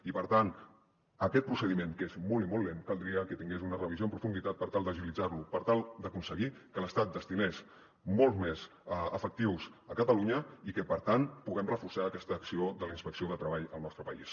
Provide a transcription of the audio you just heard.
i per tant aquest procediment que és molt i molt lent caldria que tingués una revisió en profunditat per tal d’agilitzar lo per tal d’aconseguir que l’estat destinés molts més efectius a catalunya i que per tant puguem reforçar aquesta acció de la inspecció de treball al nostre país